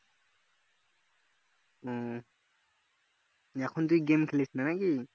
এখন তুই game খেলিস না নাকি